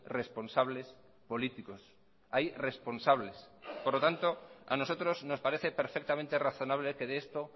responsables políticos hay responsables por lo tanto a nosotros nos parece perfectamente razonable que de esto